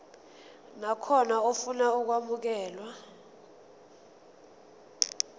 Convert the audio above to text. nakhona ofuna ukwamukelwa